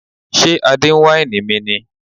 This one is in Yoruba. Ṣé Adé ń wáìnì mi ni?